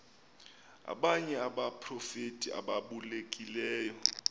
abanye abaprofeti ababalulekileyo